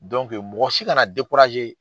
mɔgɔ si kana .